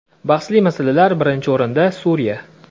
Bahsli masalalar Birinchi o‘rinda Suriya.